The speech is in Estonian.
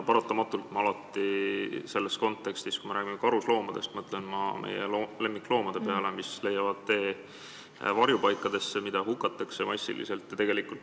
Paratamatult ma mõtlen selles kontekstis, kui me räägime karusloomadest, meie lemmikloomade peale, kes leiavad tee varjupaikadesse ja keda massiliselt hukatakse.